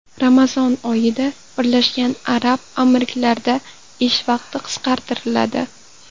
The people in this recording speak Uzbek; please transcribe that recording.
Ramazon oyida Birlashgan Arab Amirliklarida ish vaqti qisqartiriladi.